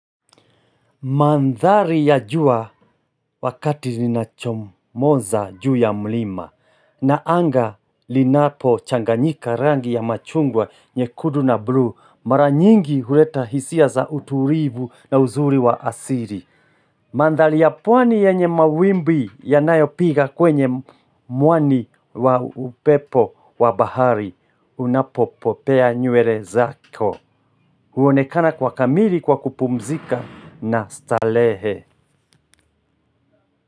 Mandhari ya jua wakati linachomoza juu ya mlima na anga linapochanganyika rangi ya machungwa nyekundu na bluu mara nyingi huleta hisia za utulivu na uzuri wa asili. Mandhari ya pwani yenye mawimbi yanayopiga kwenye mwani wa upepo wa bahari unapopopea nywele zako. Huonekana kwa kamili kwa kupumzika na stalehe.